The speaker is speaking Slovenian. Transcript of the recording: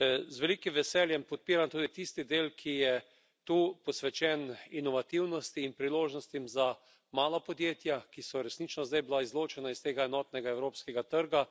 Z velikim veseljem podpiram tudi tisti del, ki je tu posvečen inovativnosti in priložnostim za mala podjetja, ki so resnično zdaj bila izločena iz tega enotnega evropskega trga.